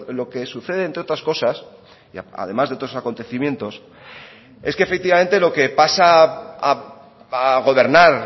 lo que sucede entre otras cosas además de otros acontecimientos es que efectivamente lo que pasa a gobernar